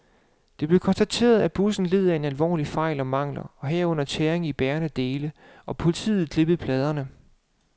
Det blev konstateret, at bussen led af alvorlige fejl og mangler, herunder tæringer i bærende dele, og politiet klippede pladerne.